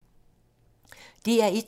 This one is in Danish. DR1